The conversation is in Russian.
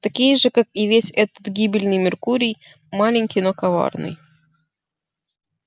такие же как и весь этот гибельный меркурий маленький но коварный